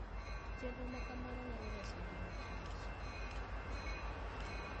Chenro ma kamano nyalo reso ngima Kich.